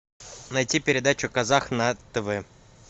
найти передачу казах на тв